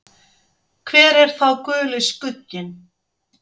Hver er þá Guli skugginn?